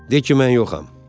De ki mən yoxam.